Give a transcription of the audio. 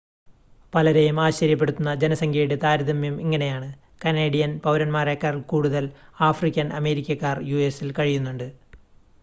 പലരെയും ആശ്ചര്യപ്പെടുത്തുന്ന ജനസംഖ്യയുടെ താരതമ്യം ഇങ്ങനെയാണ് കനേഡിയൻ പൗരന്മാരേക്കാൾ കൂടുതൽ ആഫ്രിക്കൻ അമേരിക്കക്കാർ യുഎസിൽ കഴിയുന്നുണ്ട്